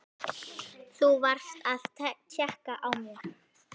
Þú varst að tékka á mér!